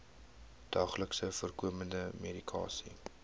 daagliks voorkomende medikasie